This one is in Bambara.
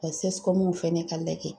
fɛnɛ ka lajɛ.